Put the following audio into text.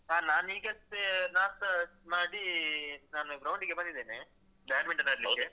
ಹಾ ನಾನ್ ಈಗಷ್ಟೇ ನಾಷ್ಟ ಮಾಡಿ ನಾನು ground ಡಿಗೆ ಬಂದಿದೆನೆ badminton ಆಡ್ಲಿಕ್ಕೆ.